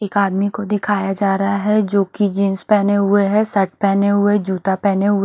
एक आदमी को दिखाया जा रहा है जो की जीन्स पहने हुए है शर्ट पहने हुए है जूता पहने हुए --